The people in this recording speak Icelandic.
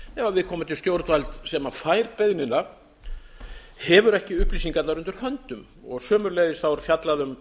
ef viðkomandi stjórnvald sem fær beiðnina hefur ekki upplýsingarnar undir höndum sömuleiðis er fjallað um